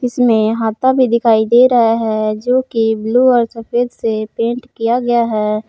इसमें हाता भी दिखाई दे रहा है जो की ब्लू और सफेद से पेंट किया गया है।